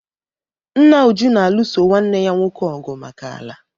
Nna Uju na-alụso nwanne ya nwoke ọgụ maka ala.